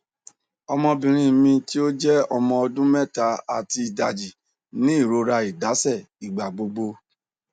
ọmọbinrin mi ti o jẹ ọmọ ọdun mẹta ati idaji ni irora idaṣẹ igbagbogbo